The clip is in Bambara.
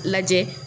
Lajɛ